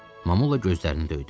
Mamolla gözlərini döydü.